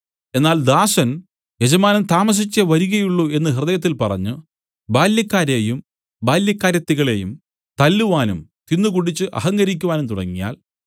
എന്നാൽ ദാസൻ യജമാനൻ താമസിച്ചേ വരികയുള്ളു എന്നു ഹൃദയത്തിൽ പറഞ്ഞു ബാല്യക്കാരെയും ബാല്യക്കാരത്തികളെയും തല്ലുവാനും തിന്നുകുടിച്ച് അഹങ്കരിക്കുവാനും തുടങ്ങിയാൽ